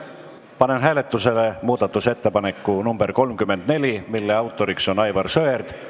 Panen hääletusele muudatusettepaneku nr 34, mille autoriks on Aivar Sõerd.